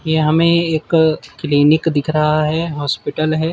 ये हमें एक क्लिनिक दिख रहा है हॉस्पिटल है।